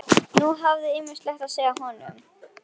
Nú hafði ég ýmislegt að segja honum.